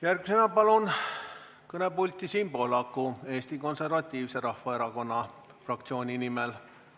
Järgmisena palun kõnepulti Siim Pohlaku Eesti Konservatiivse Rahvaerakonna fraktsiooni nimel.